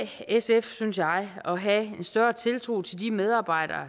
sf synes jeg at have en større tiltro til de medarbejdere